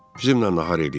Bizimlə nahar eləyin.